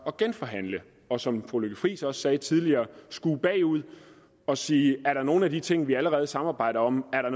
at genforhandle og som fru lykke friis også sagde tidligere og skue bagud og sige er der nogle af de ting vi allerede samarbejder om er der